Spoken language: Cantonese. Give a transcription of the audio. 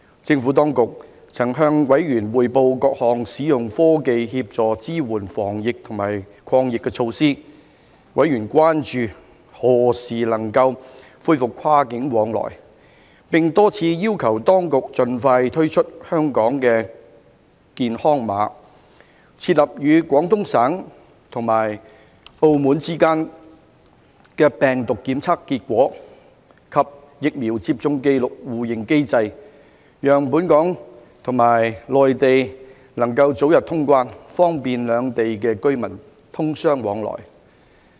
政府當局曾向委員匯報各項使用科技協助支援防疫及抗疫的措施，委員關注何時能夠恢復跨境往來，並多次要求當局盡快推出"香港健康碼"，設立與廣東省及澳門之間的病毒檢測結果及疫苗接種紀錄互認機制，讓本港和內地能夠早日通關，方便兩地居民通商往來。